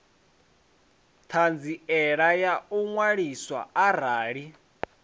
ṱhanziela ya u ṅwaliswa arali